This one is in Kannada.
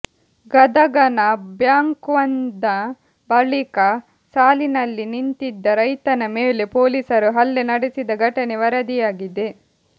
ಗದಗನ ಬ್ಯಾಂಕ್ವೊಂದ ಬಳಿಕ ಸಾಲಿನಲ್ಲಿ ನಿಂತಿದ್ದ ರೈತನ ಮೇಲೆ ಪೊಲೀಸರು ಹಲ್ಲೆ ನಡೆಸಿದ ಘಟನೆ ವರದಿಯಾಗಿದೆ